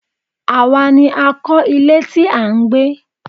Àwa ni a kọ̀ ilé tí à ń gbé.